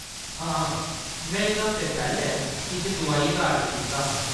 हां, में इक हफ्ता पैह्‌‌‌लें किश दुआइयें दा ऑर्डर कीता हा।